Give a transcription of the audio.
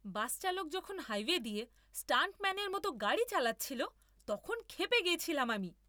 বাস চালক যখন হাইওয়ে দিয়ে স্টান্টম্যানের মতো গাড়ি চালাচ্ছিল, তখন ক্ষেপে গেছিলাম আমি।